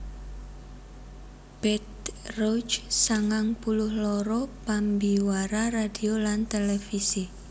Bette Rogge sangang puluh loro pambiwara radio lan télévisi